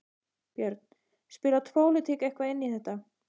Björn: Spilar pólitík eitthvað inn í þetta?